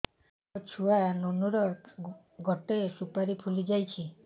ମୋ ଛୁଆ ନୁନୁ ର ଗଟେ ସୁପାରୀ ଫୁଲି ଯାଇଛି